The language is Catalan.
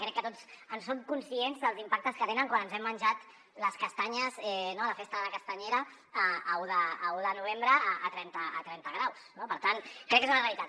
crec que tots som conscients dels impactes que tenen quan ens hem menjat les castanyes a la festa de la castanyera l’un de novembre a trenta graus no per tant crec que és una realitat